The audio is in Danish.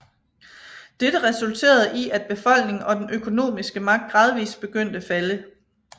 Dette resulterede i at befolkning og den økonomisk magt gradvist begyndte falde